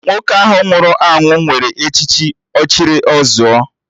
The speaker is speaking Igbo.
Nwoke ahụ nwụrụ anwụ nwere echichi 'Ọchịrị ọ zụọ'